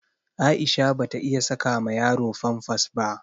Aisha bata iya saka ma yaro famfas ba.